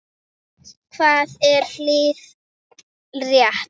Hvað er hið rétta?